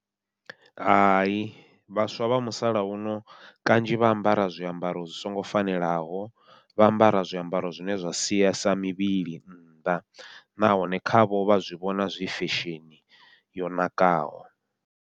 Hai vhaswa vha musalauno kanzhi vha ambara zwiambaro zwi songo fanelaho, vha ambara zwiambaro zwine zwa siesa mivhili nnḓa nahone khavho vha zwi vhona zwi fesheni yo nakaho.